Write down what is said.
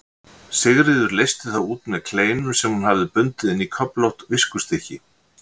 Sigríður leysti þá út með kleinum sem hún hafði bundið inn í köflótt viskustykki.